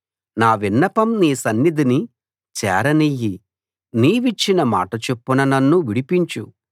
నా విన్నపం నీ సన్నిధిని చేరనియ్యి నీవిచ్చిన మాట చొప్పున నన్ను విడిపించు